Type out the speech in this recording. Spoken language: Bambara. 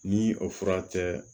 Ni o fura tɛ